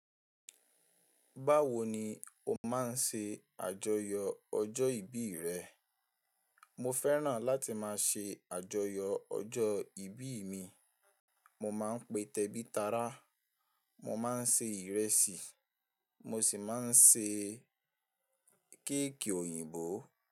Báwo ni o máa ń ṣe àjọyọ̀ ọjọ́ ìbí rẹ? Mo fẹ́ràn láti máa ṣe àjọyọ̀ ọjọ́ ìbí mi. Mo máa ń pe tẹ́bí tará, mo máa ń se ìrẹsì, mo sì máa ń ṣe kéèkì òyìnbó.